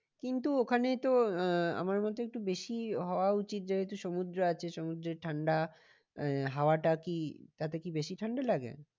কিন্তু ওখানে তো আহ আমার মতে একটু বেশি হওয়া উচিত যেহেতু সমুদ্র আছে সমুদ্রের ঠান্ডা আহ হাওয়াটা কি তাতে কি বেশি ঠান্ডা লাগে?